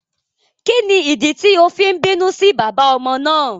Kíni ìdí tí o fi n bínú sí bàbá ọmọ náà?